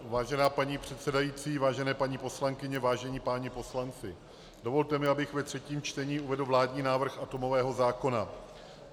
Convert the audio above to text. Vážená paní předsedající, vážené paní poslankyně, vážení páni poslanci, dovolte mi, abych ve třetím čtení uvedl vládní návrh atomového zákona.